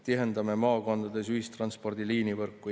Tihendame maakondades ühistranspordi liinivõrku.